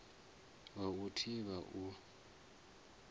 wa u i thivha u